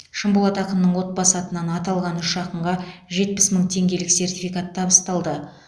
шынболат ақынның отбасы атынан аталған үш ақынға жетпіс мың теңгелік сертификат табысталды